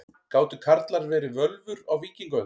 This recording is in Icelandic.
Gátu karlar verið völvur á víkingaöld?